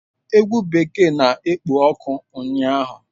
Egwu bekee na-ekpo ọkụ ụnyaahụ